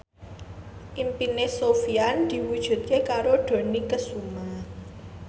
impine Sofyan diwujudke karo Dony Kesuma